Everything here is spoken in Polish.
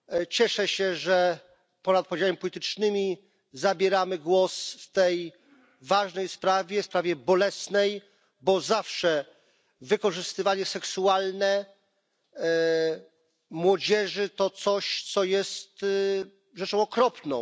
Cieszę się, że ponad podziałami politycznymi zabieramy głos w tej ważnej sprawie, sprawie bolesnej, bo zawsze wykorzystywanie seksualne młodzieży to coś, co jest rzeczą okropną.